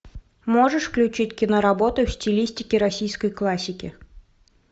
можешь включить киноработу в стилистике российской классики